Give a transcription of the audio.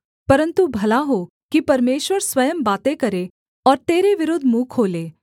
परन्तु भला हो कि परमेश्वर स्वयं बातें करें और तेरे विरुद्ध मुँह खोले